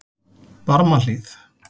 Barmahlíð